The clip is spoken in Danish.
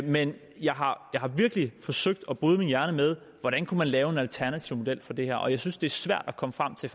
men jeg har virkelig forsøgt at bryde min hjerne med hvordan man kunne lave en alternativ model for det her og jeg synes faktisk det er svært at komme frem til